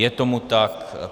Je tomu tak.